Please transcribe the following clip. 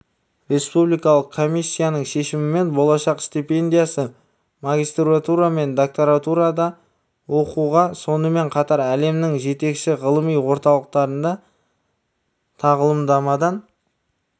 республикалық комиссияның шешімімен болашақ стипендиясы магистратура мен докторантурада оқуға сонымен қатар әлемнің жетекші ғылыми орталықтарында тағылымдамадан